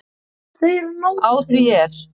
Á því er